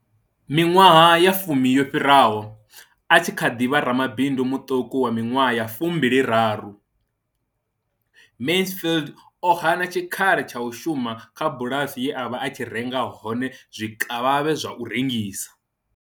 Miṅwaha ya fumi yo fhiraho, a tshi kha ḓi vha ramabindu muṱuku wa miṅwaha ya fumbili raru, Mansfield o hana tshikhala tsha u shuma kha bulasi ye a vha a tshi renga hone zwikavhavhe zwa u rengisa.